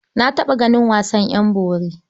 Na taɓa ganin wasan ƴan bori.